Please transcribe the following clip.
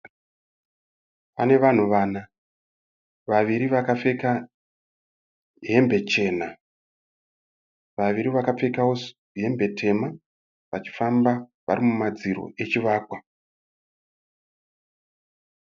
Pane vanhu vana. Vaviri vakapfeka hembe chena. Vaviri vakapfekawo hembe tema. Vachifamba varimumadziro echivakwa.